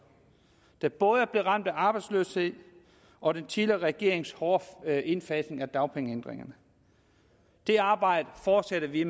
der både er blevet ramt af arbejdsløshed og den tidligere regeringens hårde indfasning af dagpengeændringerne det arbejde fortsætter vi